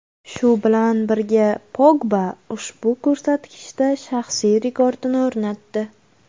Shu bilan birga Pogba ushbu ko‘rsatkichda shaxsiy rekordini o‘rnatdi.